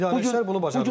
İdarəçilər bunu bacarıblar.